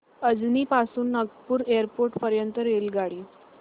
अजनी पासून नागपूर एअरपोर्ट पर्यंत रेल्वेगाडी